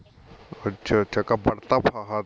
ਅੱਛਾ ਅੱਛਾ